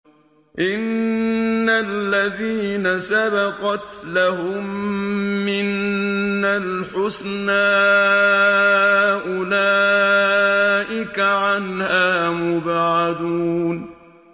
إِنَّ الَّذِينَ سَبَقَتْ لَهُم مِّنَّا الْحُسْنَىٰ أُولَٰئِكَ عَنْهَا مُبْعَدُونَ